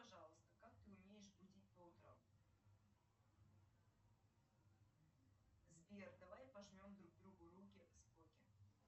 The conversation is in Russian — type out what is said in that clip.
пожалуйста как ты умеешь будить по утрам сбер давай пожмем друг другу руки споки